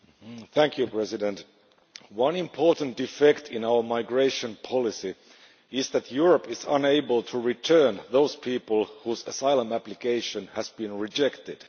Mr President, one important defect in our migration policy is that Europe is unable to return those people whose asylum applications have been rejected.